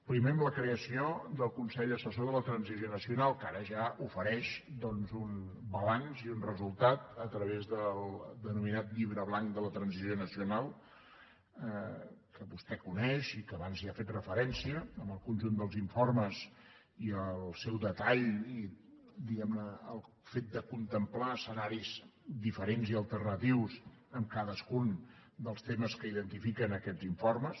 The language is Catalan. primer amb la creació del consell assessor de la transició nacional que ara ja ofereix un balanç i un resultat a través del denominat llibre blanc de la transició nacional que vostè coneix i que abans hi ha fet referència amb el conjunt dels informes i el seu detall diguem ne i el fet de contemplar escenaris diferents i alternatius en cadascun dels temes que identifiquen aquests informes